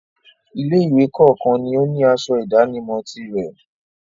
Ilé-ìwé kọ̀ọ̀kan ni ó ní asọ ìdánimọ̀ tirẹ̀.